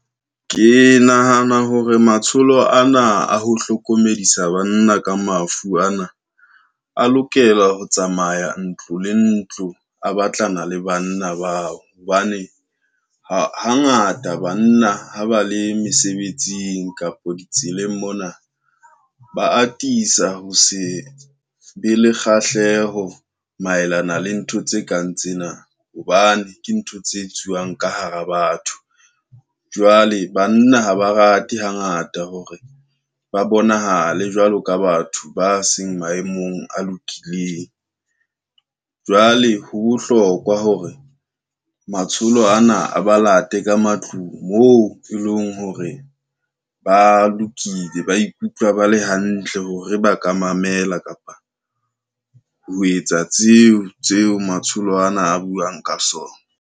Ke nahana hore matsholo ana a ho hlokomedisa banna ka mafu ana, a lokela ho tsamaya ntlo le ntlo a batlana le banna bao, hobane hangata banna ha ba le mesebetsing kapo ditseleng mona ba atisa ho se be le kgahleho maelana le ntho tse kang tsena, hobane ke ntho tse etsuwang ka hara batho. Jwale banna ha ba rate, hangata hore ba bonahale jwalo ka batho ba seng maemong a lokileng. Jwale ho bohlokwa hore matsholo ana a ba late ka matlung moo, e leng hore ba lokile ba ikutlwa ba le hantle hore ba ka mamela kapa ho etsa tseo tseo matsholo ana a buang ka sona.